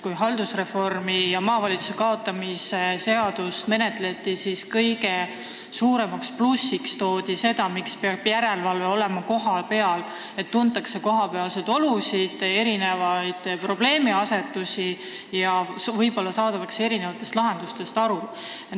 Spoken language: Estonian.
Kui haldusreformi käigus maavalitsuste kaotamise seadust menetleti, siis toodi kõige suuremaks plussiks, miks peaks järelevalve olema kohapeal, seda, et seal tuntakse kohalikke olusid ja probleemiasetusi ning võib-olla saadakse ka lahendustest paremini aru.